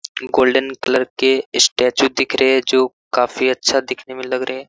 Golden colour के statue दिख रहे हैं जो काफी अच्छा दिखने में लग रहे हैं।